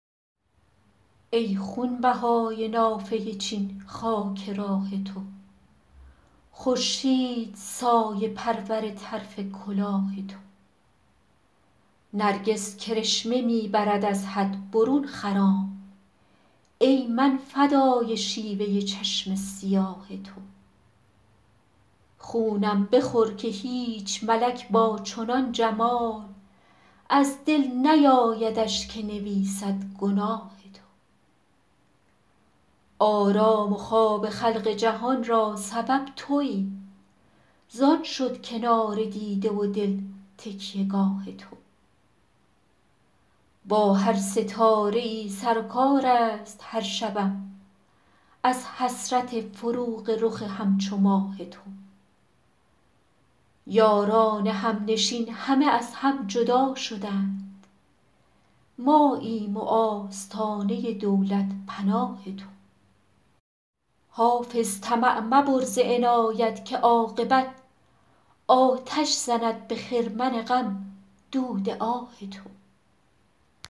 ای خونبهای نافه چین خاک راه تو خورشید سایه پرور طرف کلاه تو نرگس کرشمه می برد از حد برون خرام ای من فدای شیوه چشم سیاه تو خونم بخور که هیچ ملک با چنان جمال از دل نیایدش که نویسد گناه تو آرام و خواب خلق جهان را سبب تویی زان شد کنار دیده و دل تکیه گاه تو با هر ستاره ای سر و کار است هر شبم از حسرت فروغ رخ همچو ماه تو یاران همنشین همه از هم جدا شدند ماییم و آستانه دولت پناه تو حافظ طمع مبر ز عنایت که عاقبت آتش زند به خرمن غم دود آه تو